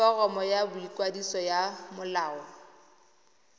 foromo ya boikwadiso ya molao